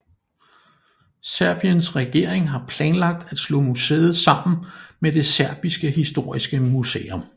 Serbiens regering har planlagt at slå museet sammen med det Serbiske historiske museum